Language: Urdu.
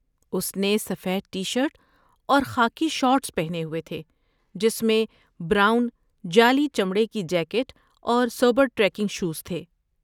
اس نے سفید ٹی شرٹ اور خاکی شارٹس پہنے ہوئے تھے، جس میں براؤن، جعلی چمڑے کی جیکٹ اور سابر ٹریکنگ شوز تھے۔